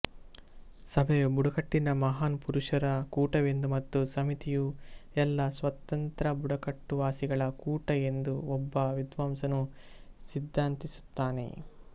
ಸಭೆಯು ಬುಡಕಟ್ಟಿನ ಮಹಾನ್ ಪುರುಷರ ಕೂಟವೆಂದು ಮತ್ತು ಸಮಿತಿಯು ಎಲ್ಲ ಸ್ವತಂತ್ರ ಬುಡಕಟ್ಟುವಾಸಿಗಳ ಕೂಟ ಎಂದು ಒಬ್ಬ ವಿದ್ವಾಂಸನು ಸಿದ್ಧಾಂತಿಸುತ್ತಾನೆ